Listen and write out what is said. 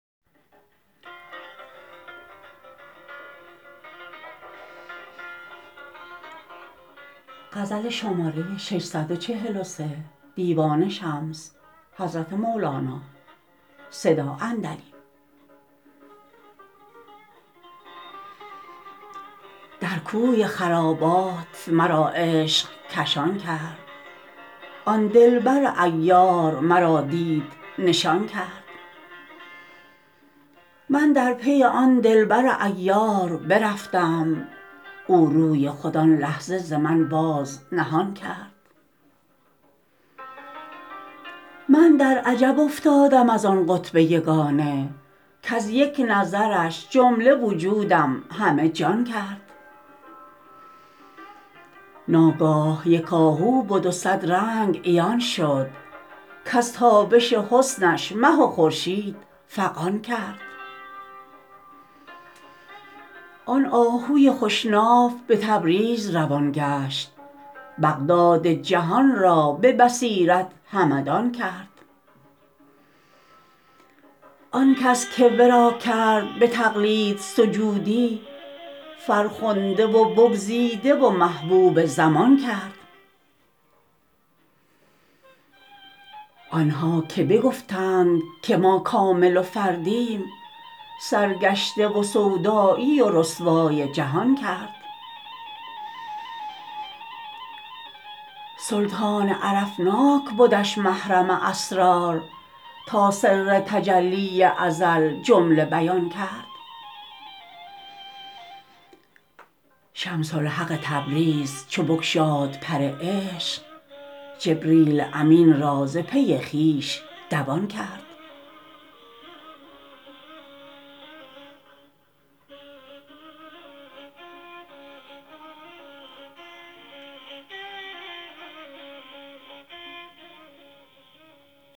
در کوی خرابات مرا عشق کشان کرد آن دلبر عیار مرا دید نشان کرد من در پی آن دلبر عیار برفتم او روی خود آن لحظه ز من باز نهان کرد من در عجب افتادم از آن قطب یگانه کز یک نظرش جمله وجودم همه جان کرد ناگاه یک آهو به دو صد رنگ عیان شد کز تابش حسنش مه و خورشید فغان کرد آن آهوی خوش ناف به تبریز روان گشت بغداد جهان را به بصیرت همدان کرد آن کس که ورا کرد به تقلید سجودی فرخنده و بگزیده و محبوب زمان کرد آن ها که بگفتند که ما کامل و فردیم سرگشته و سودایی و رسوای جهان کرد سلطان عرفناک بدش محرم اسرار تا سر تجلی ازل جمله بیان کرد شمس الحق تبریز چو بگشاد پر عشق جبریل امین را ز پی خویش دوان کرد